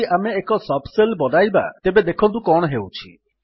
ଯଦି ଆମେ ଏକ ସବ୍ ଶେଲ୍ ବନାଇବା ତେବେ ଦେଖନ୍ତୁ କଣ ହେଉଛି